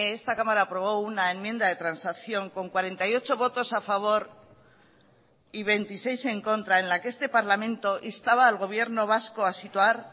esta cámara aprobó una enmienda de transacción con cuarenta y ocho votos a favor y veintiséis en contra en la que este parlamento instaba al gobierno vasco a situar